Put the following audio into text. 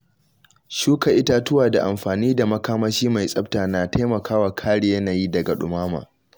Shuka itatuwa da amfani da makamashi mai tsafta na taimakawa kare yanayi daga dumama.